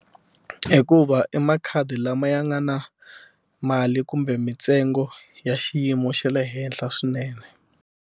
Hikuva i makhadi lama ya nga na mali kumbe mitsengo ya xiyimo xa le henhla swinene.